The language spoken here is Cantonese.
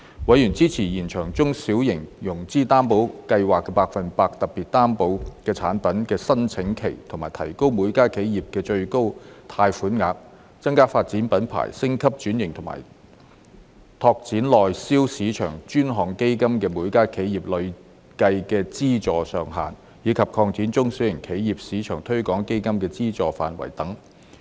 委員支持延長中小企融資擔保計劃下百分百特別擔保產品的申請期及提高每家企業的最高貸款額；增加發展品牌、升級轉型及拓展內銷市場的專項基金的每家企業累計資助上限；以及擴展中小企業市場推廣基金的資助範圍等。